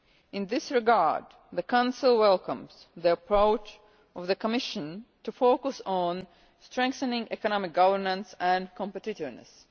In this regard the Council welcomes the approach of the Commission to focus on strengthening economic governance and competitiveness.